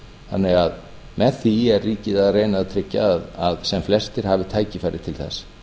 þannig að með því er ríkið að reyna að tryggja að sem flestir hafi tækifæri til þess